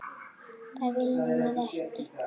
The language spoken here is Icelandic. Það viljum við ekki!